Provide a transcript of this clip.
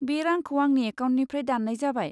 बे रांखौ आंनि एकाउन्टनिफ्राय दान्नाय जाबाय।